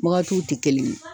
Wagatiw tɛ kelen ye.